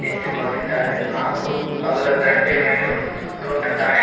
ನಿಂತುಕೊಂಡಿದ್ದಾರೆ ಹಾಗು ಅದರ ದಂಡೆ ಮೇಲೆ ಒಂದು ದೊಡ್ಡ ದಾರಿ.